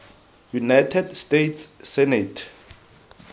united states senate